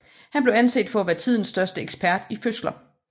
Han blev anset for at være tidens største ekspert i fødsler